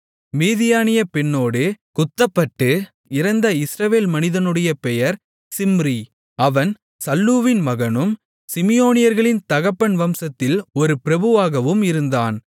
மீதியானிய பெண்ணோடு குத்தப்பட்டு இறந்த இஸ்ரவேல் மனிதனுடைய பெயர் சிம்ரி அவன் சல்லூவின் மகனும் சிமியோனியர்களின் தகப்பன் வம்சத்தில் ஒரு பிரபுவாகவும் இருந்தான்